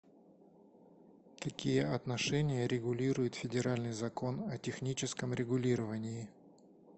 какие отношения регулирует федеральный закон о техническом регулировании